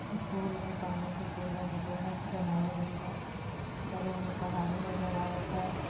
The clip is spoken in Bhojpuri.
एक पोल बा पानी के पोल बा जो लोहा से बनावल गइल बा बगल में पहाड़ी नजर आवता।